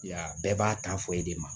Ya bɛɛ b'a tan fɔ e de ma